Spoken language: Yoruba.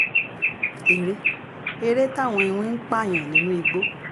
eré eré táwọn iwin ń pààyàn nínú igbó